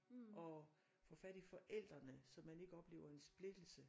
Og få fat i forældrene så man ikke oplever en splittelse